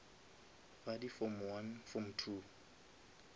ba di form one form two